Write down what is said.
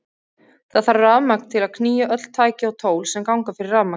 Það þarf rafmagn til að knýja öll tæki og tól sem ganga fyrir rafmagni.